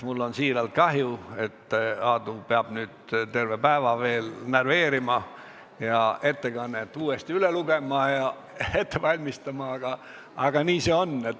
Mul on siiralt kahju, et Aadu peab nüüd terve päeva veel närveerima ja ettekannet uuesti üle lugema ja ette valmistama, aga nii see on.